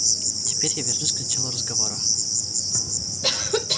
теперь я вернусь к началу разговора